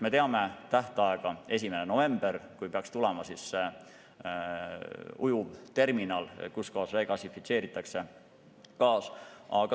Me teame tähtaega: 1. novembril peaks tulema ujuvterminal, aga kuskohas degasifitseeritaks gaas?